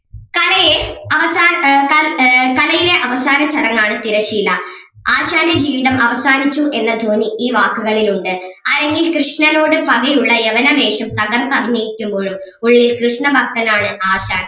കലയെ അവസാന ഏർ കൽ ഏർ കളിയിലെ അവസാന ചടങ്ങ് ആണ് തിരശീല ആശാന്റെ ജീവിതം അവസാനിച്ചു എന്ന ധ്വനി ഈ വാക്കുകളിൽ ഉണ്ട് അരങ്ങിൽ കൃഷ്ണനോട് പകയുള്ള യവന വേഷം തകർത്തഭിനയിക്കുമ്പോഴും ഉള്ളിൽ കൃഷ്ണ ഭക്തനാണ് ആശാൻ